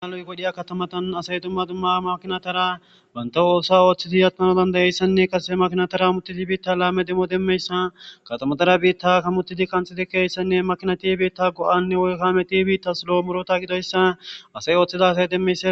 Dmaloy godhiya katamatan asay dumma dumma makinatara banta oosa ooththiti atmano dandayeyssanne kase makinatara mutitibiitta laame demmo demmeyssa katamatara biitta ka mutidi kanxii keessanne makinatibiitta go7anne woykkame tibiitta silo murota gidoyssa ase ooththida asay demmeysa